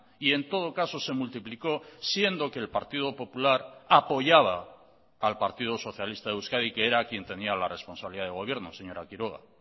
y en todo caso se multiplicó siendo que el partido popular apoyaba al partido socialista de euskadi que era quien tenía la responsabilidad de gobierno señora quiroga